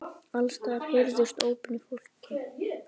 Alls staðar heyrðust ópin í fólki.